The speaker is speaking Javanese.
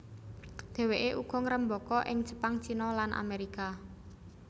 Dhèwèké uga ngrembaka ing Jepang China lan Amerika